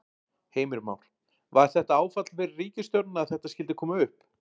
Heimir Már: Var þetta áfall fyrir ríkisstjórnina að þetta skyldi koma upp?